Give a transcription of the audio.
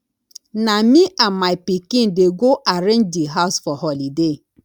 na me and my pikin dey go arrange di house for holiday